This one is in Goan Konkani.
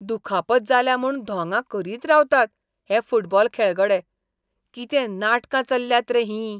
दुखापत जाल्या म्हूण धोंगां करीत रावतात हे फुटबॉल खेळगडे, कितें नाटकां चल्ल्यांत रें हीं!